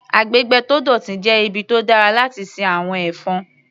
Agbègbè tó dọ̀tí jẹ́ ibi tó dára láti sin àwọn ẹ̀fọn.